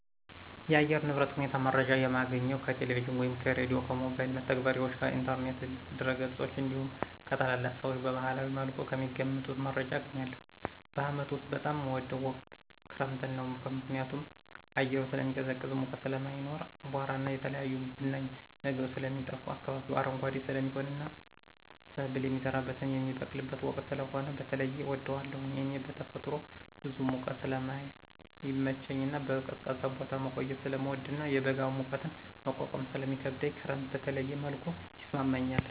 የአየር ንብረት ሁኔታ መረጃ የማገኘው ከቴሌቪዥን ወይም ከሬዲዮ፣ ከሞባይል መተግበሪያዎች፣ ከኢንተርኔት ድረገጾች እንዲሁም ከታላላቅ ሰዎች በባህላዊ መልኩ ከሚገምቱት መረጃ አገኛለሁ። በዓመት ውስጥ በጣም ምወደው ወቅት ክረምትን ነው። ምክንያቱም አየሩ ስለሚቀዘቅዝ ሙቀት ስለማይኖር፣ አቧራና የተለያዩ ብናኝ ነገሮች ስለሚጠፋ፣ አካባቢው አረንጓዴ ስለሚሆንና ሰብል የሚዘራበትና የሚበቅልበት ወቅት ስለሆነ በተለየ እወደዋለሁ። እኔ በተፈጥሮ ብዙ ሙቀት ስለማይመቸኝና በቀዝቃዛ ቦታ መቆየት ስለምወድና የበጋ ሙቀትን መቋቋም ስለሚከብደኝ ክረምት በተለየ መልኩ ይስማማኛል።